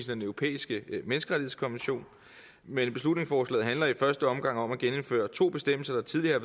den europæiske menneskerettighedskonvention men beslutningsforslaget handler i første omgang om at genindføre to bestemmelser der tidligere